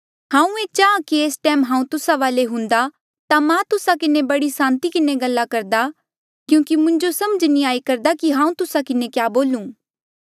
हांऊँ ये चाहां कि एस टैम हांऊँ तुस्सा वाले हुंदा ता मां तुस्सा किन्हें बड़े सांति किन्हें गल्ला करदा क्यूंकि मुंजो समझ नी आई करदा कि हांऊँ तुस्सा किन्हें क्या बोलू